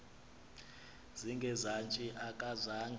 zinge zantsi akazange